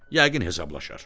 Yəqin hesablaşar.